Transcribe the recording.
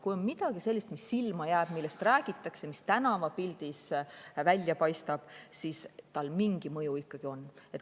Kui on midagi sellist, mis silma jääb, millest räägitakse, mis tänavapildis välja paistab, siis sellel mingi mõju ikkagi on.